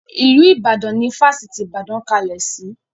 Ilu Ìbàdàn ni Fásitì ìbàdàn kalẹ̀ sì.